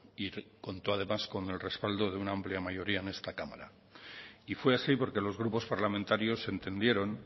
y contó además con el respaldo de una amplia mayoría en esta cámara y fue así porque los grupos parlamentarios entendieron